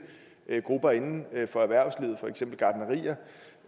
grupper inden for erhvervslivet for eksempel gartnerier